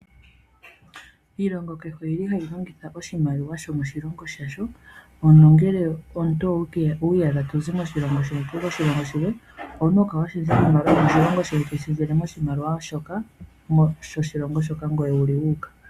Iilonga kehe oyili hayi longitha oshimaliwa sho moshilongo sha sho, nongele omuntu owii yadha to zi moshilongo shoye toyi moshilongo shilwe, owuna oku kala wa shendja oshimaliwa yomoshilongo shoye to yi shendjele yo moshilongo shoka ngoye wuli wuuka.